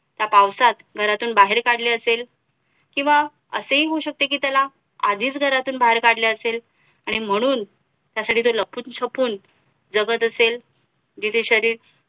ह्या पावसात घरातून बाहेर काढले असेल किंवा असेही होऊ शकते कि त्याला आधीच घरातून बाहेर काढले असेल आणि म्हणून त्यासाठी तो लपूनछपून जगत असेल जिथे शरीर